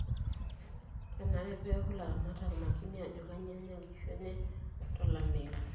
Kenare peeki ilaramatak makini ajo kanyioo enya inkishu enye tolameyu.